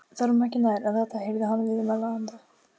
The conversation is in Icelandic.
. þorum ekki nær en þetta- heyrði hann viðmælanda